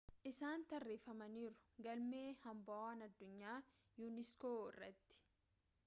isaan tarreeffamaniiru galme hambawwaan addunyaa unesco irratti